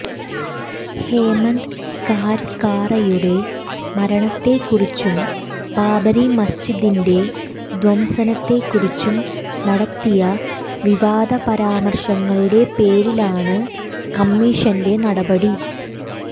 ഹേമന്ദ് കാര്ക്കറെയുടെ മരണത്തെ കുറിച്ചും ബാബരി മസ്ജിദിന്റെ ധ്വംസനത്തെ കുറിച്ചും നടത്തിയ വിവാദ പരാമര്ശങ്ങളുടെ പേരിലാണ് കമ്മീഷന്റെ നടപടി